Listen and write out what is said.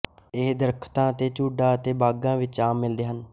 ਇਹ ਦਰੱਖਤਾਂ ਦੇ ਝੁੰਡਾਂ ਅਤੇ ਬਾਗ਼ਾਂ ਵਿੱਚ ਆਮ ਮਿਲਦੇ ਹਨ